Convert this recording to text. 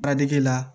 Badɛge la